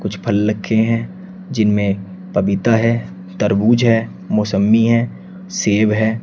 कुछ फल लखे है जिनमे पपीता है तरबूज है मोसंमी है सेब है।